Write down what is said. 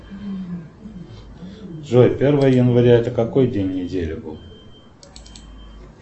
джой первое января это какой день недели был